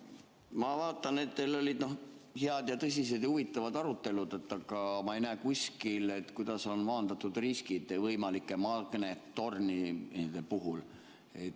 Ma vaatan, et teil olid head, tõsised ja huvitavad arutelud, aga ma ei näe kuskil, kuidas on maandatud riskid võimalike magnettormide puhul.